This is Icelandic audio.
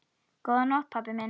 Góða nótt pabbi minn.